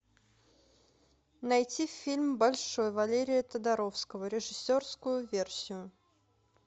найти фильм большой валерия тодоровского режиссерскую версию